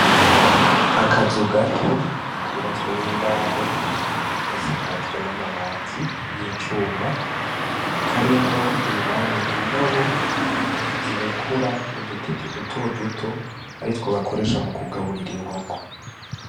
Akazu gato kubatswe n' imbaho gasakajwe n' amabati y' icuma karimwo indani indobo zirekura udu tete duto duto aritwo bakoresha mu kugaburira inkoko.